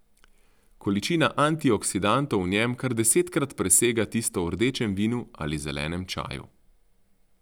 Količina antioksidantov v njem kar desetkrat presega tisto v rdečem vinu ali zelenem čaju.